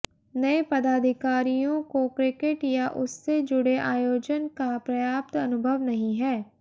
नए पदाधिकारियों को क्रिकेट या उससे जुड़े आयोजन का पर्याप्त अनुभव नहीं है